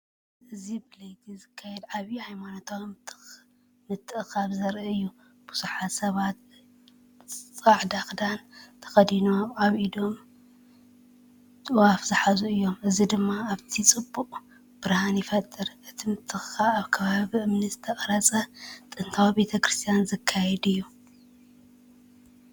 እዚ ብለይቲ ዝካየድ ዓቢ ሃይማኖታዊ ምትእኽኻብ ዘርኢ እዩ። ብዙሓት ሰባት ጻዕዳ ክዳን ተኸዲኖም ኣብ ኢዶም ጥዋፍ ዝሓዙ ኮይኖም፡ እዚ ድማ ኣብቲ ከባቢ ጽቡቕ ብርሃን ይፈጥር። እቲ ምትእኽኻብ ኣብ ከባቢ ብእምኒ ዝተቐርጸ ጥንታዊ ቤተ ክርስቲያን ዝካየድእዩ።